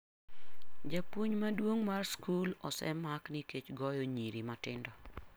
Japuonj maduong' mar skul osemak nikech goyo nyiri matindo.